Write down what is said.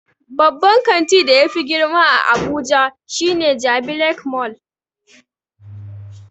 Babban kanti da yafi girma a abuja shine jabi lake mall